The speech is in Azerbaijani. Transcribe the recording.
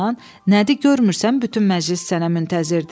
Nədi, görmürsən bütün məclis sənə müntəzirdir?